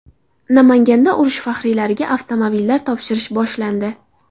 Namanganda urush faxriylariga avtomobillar topshirish boshlandi.